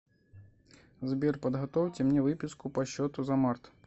сбер подготовьте мне выписку по счету за март